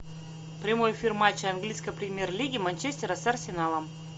прямой эфир матча английской премьер лиги манчестера с арсеналом